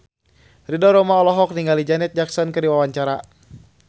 Ridho Roma olohok ningali Janet Jackson keur diwawancara